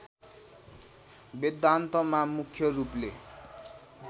वेदान्तमा मुख्य रूपले